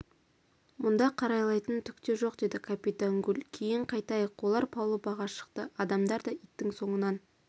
мұнда қарайлайтын түк те жоқ деді капитан гулькейін қайтайық олар палубаға шықты адамдар да иттің соңынан